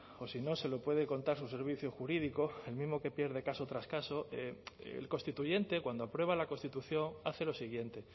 o si no se lo puede contar su servicio jurídico el mismo que pierde caso tras caso el constituyente cuando aprueba la constitución hace lo siguiente